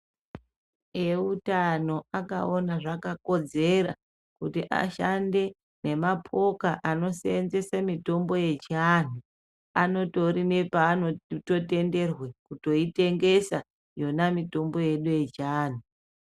Eutano akaona zvakakodzera kuti ashande nemapoka anosenzese mitombo yechianhu anotori nepanototenderwe kutoitengesa yona mitombo yedu yechianhu.